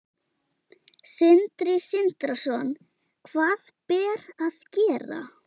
Sindri Sindrason: Hvað ber að gera?